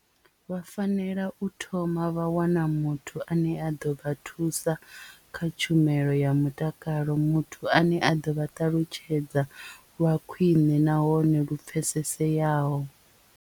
Vha fanela u thoma vha wana muthu ane a ḓo vha thusa kha tshumelo ya mutakalo muthu ane a ḓo vha ṱalutshedza lwa khwiṋe nahone lu pfeseseyaho.